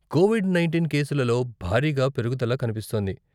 Covid nineteen కేసులలో భారీగా పెరుగుదల కనిపిస్తోంది.